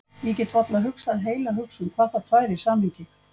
Ég get varla hugsað heila hugsun, hvað þá tvær í samhengi.